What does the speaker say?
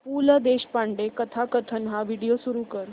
पु ल देशपांडे कथाकथन हा व्हिडिओ सुरू कर